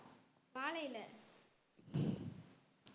வாழைல